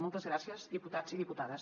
moltes gràcies diputats i diputades